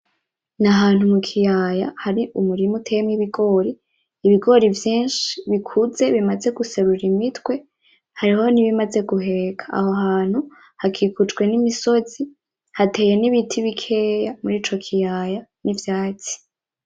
Ni ahantu mu kiyaya hari umurima uteyemwo ibigori. Ibigori vyinshi bikuze bimaze guserura imitwe, hariho n'ibimaze guheka. Aho hantu hakikujwe n'imisozi, hateye n'ibiti bikeya murico kiyaya, n'ivyatsi.